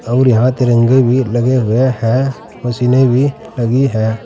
और यहां तिरंगे भी लगे हुए हैं मशीने भी लगी हैं।